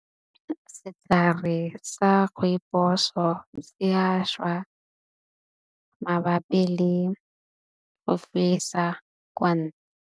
Setlhare sa rooibos-o ya šwa mabapi le go fetsa kwa .